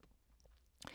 DR K